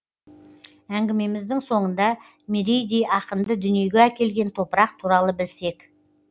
әңгімеміздің соңында мерейдей ақынды дүниеге әкелген топырақ туралы білсек